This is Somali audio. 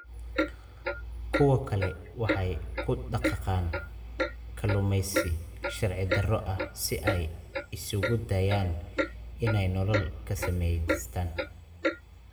Kuwo kale waxay ku dhaqaaqaan kalluumaysi sharci darro ah si ay isugu dayaan in ay nolol ka samaystaan.